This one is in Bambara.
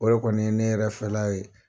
O kɔni ye ne yɛrɛ fɛla ye